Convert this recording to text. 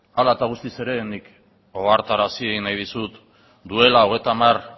hala eta guztiz ere nik ohartarazi nahi dizut duela hogeita hamar